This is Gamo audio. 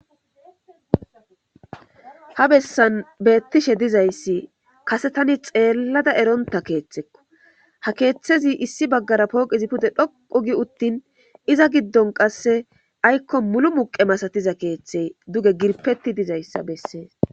Ha bessan beettishe dizayssi kase tani xeellada eronta keeththekko ha keeththezi issi baggara pooqizi pude dhoqu gi uttin iza giddon qasse aykko mulu muqe masatiza keeththey duge girpeti dizayssa bessees.